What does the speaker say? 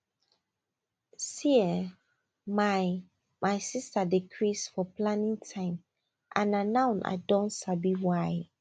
see[um]my my sister dey craze for planning time and na now i don sabi why